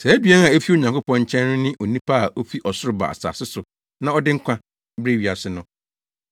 Saa aduan a efi Onyankopɔn nkyɛn no ne onipa a ofi ɔsoro ba asase so na ɔde nkwa brɛ wiase no.”